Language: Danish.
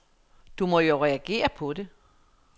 Du må jo reagere på¨det.